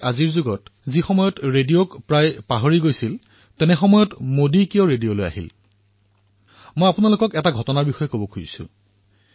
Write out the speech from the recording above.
কিয়নো আজিৰ যুগত যিসময়ত মানুহে ৰেডিঅৰ কথা পাহৰি গৈছিল সেই সময়ত মোদীয়ে এই ৰেডিঅ লৈ কিয় আহিল মই আপোনালোকক এটা ঘটনাৰ বিষয়ে কব বিচাৰিছো